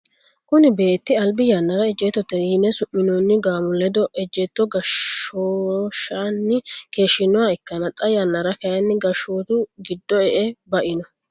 kuni beetti albi yannara ejjeettote yine su'minoonni gaamo ledo ejjeetto goshshooshanni keeshshinoha ikkanna, xaa yannara kayiinni gashshootu giddo e'e ba'ino.